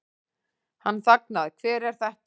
Hann þagnaði, Hver er þetta?